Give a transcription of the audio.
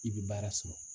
I bɛ baara sɔrɔ